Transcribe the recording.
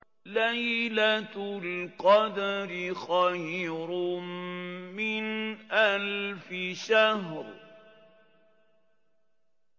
لَيْلَةُ الْقَدْرِ خَيْرٌ مِّنْ أَلْفِ شَهْرٍ